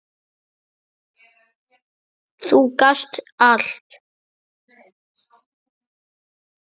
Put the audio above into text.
Þú gast allt!